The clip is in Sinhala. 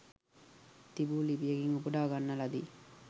තිබු ලිපියකින් උපුටා ගන්න ලදී